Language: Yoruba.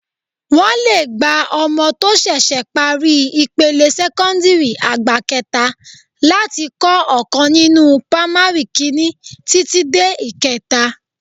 Wọ́n lè gba ọmọ tó ṣẹ̀ṣẹ̀ parí ipele sẹ́kọ́ńdìrì àgbà kẹta láti kọ́ ọkàn nínú pamari kìíní títí dé ìkẹta